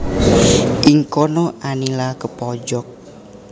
Ing kono Anila kepojok